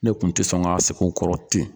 Ne tun tɛ sɔn k'a sigi u kɔrɔ ten.